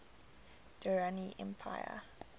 durrani empire